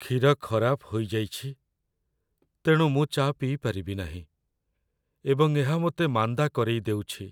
କ୍ଷୀର ଖରାପ ହୋଇଯାଇଛି ତେଣୁ ମୁଁ ଚା' ପିଇପାରିବି ନାହିଁ, ଏବଂ ଏହା ମୋତେ ମାନ୍ଦା କରେଇଦେଉଛି।